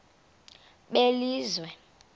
belizwe